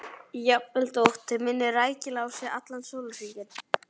Jafnvel þótt þau minni rækilega á sig allan sólarhringinn.